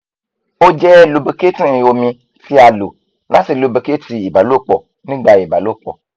o jẹ lubricating omi ti a lo lati lubricate ibalopo nigba ibalopo